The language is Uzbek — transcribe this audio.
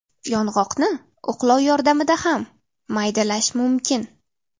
Yong‘oqni o‘qlov yordamida ham maydalash mumkin.